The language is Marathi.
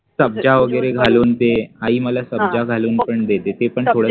सब्जा वगैरे घालून ते, आई मला सब्जा घालून पण देते ते पण